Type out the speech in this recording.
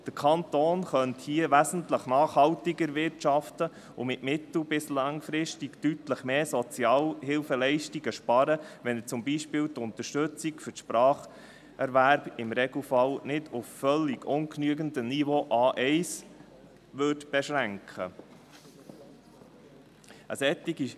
Der Kanton könnte hier wesentlich nachhaltiger wirtschaften und mittel- bis langfristig deutlich mehr Sozialhilfeleistungen sparen, wenn er zum Beispiel die Unterstützung des Spracherwerbs im Regelfall nicht auf ein völlig ungenügendes Niveau A1 beschränken würde.